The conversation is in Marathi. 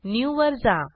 न्यू वर जा